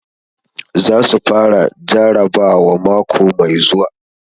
Za su fara jarabawa mako mai zuwa.